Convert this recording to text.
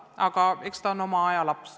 Aga eks see seadus ole oma aja laps.